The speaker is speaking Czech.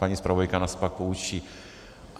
Paní zpravodajka nás pak poučí.